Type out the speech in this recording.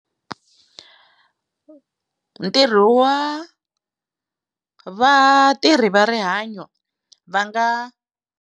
Ntirho wa vatirhi va rihanyo va nga.